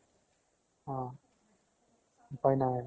অ । উপাই নাই আৰু।